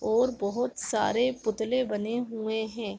और बहोत सारे पुतले बने हुए हैं |